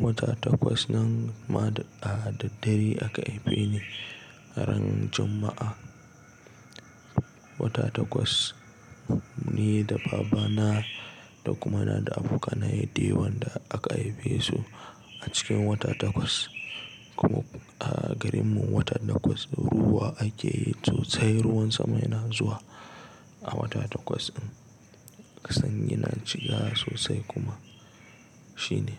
Wata Takwas nan ma da a daddare aka haife ni ran Juma'a. Wata Takwas ni da baba na da kuma ina da abokanaye dayawa da aka haife su a cikin wata Takwas. Kuma a garin mu wata Takwas ruwa ake yi sosai. Ruwan sama yana zuwa a watan Takwas ɗin. Kasan yana cika sosai kuma shine.